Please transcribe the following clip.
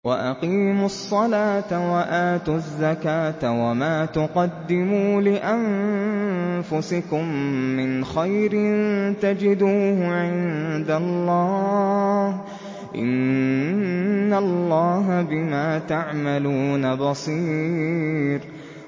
وَأَقِيمُوا الصَّلَاةَ وَآتُوا الزَّكَاةَ ۚ وَمَا تُقَدِّمُوا لِأَنفُسِكُم مِّنْ خَيْرٍ تَجِدُوهُ عِندَ اللَّهِ ۗ إِنَّ اللَّهَ بِمَا تَعْمَلُونَ بَصِيرٌ